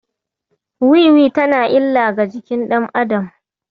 Wiwi tana da illa ga jikin ɗan adam.